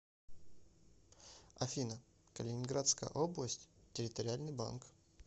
афина калининградская область территориальный банк